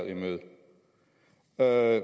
er